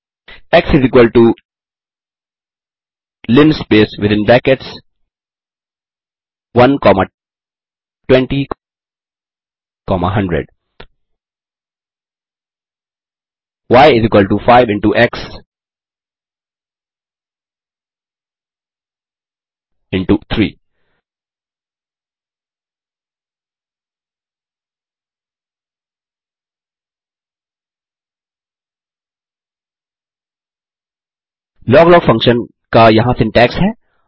x linspace within brackets 1 comma 20 comma 100 y 5 into x into 3 log log function का यहाँ syntax है